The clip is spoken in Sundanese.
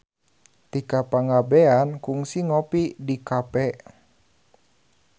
Tika Pangabean kungsi ngopi di cafe